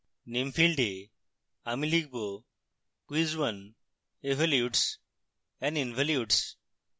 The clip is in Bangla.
name ফীল্ডে আমি লিখব quiz 1evolutes and involutes